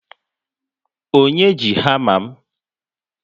Onye ji hama m?